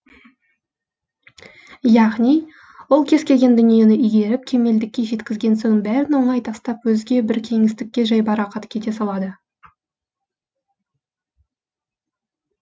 яғни ол кез келген дүниені игеріп кемелдікке жеткізген соң бәрін оңай тастап өзге бір кеңістікке жайбарақат кете салады